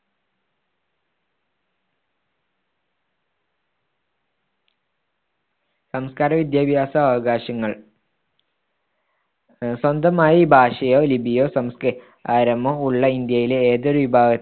സാംസ്‌കാരിക വിദ്യാഭ്യാസ അവകാശങ്ങൾ സ്വന്തമായി ഭാഷയോ ലിപിയോ സംസ്കാരമോ ഉള്ള ഇന്ത്യയിലെ ഏതൊരു വിഭാഗത്ത്